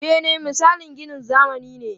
Bene misalin ginin zamani ne.